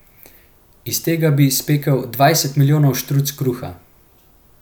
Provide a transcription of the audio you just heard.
Iz tega bi spekel dvajset milijonov štruc kruha.